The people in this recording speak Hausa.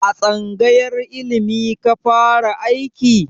A tsangayar ilimi ka fara aiki?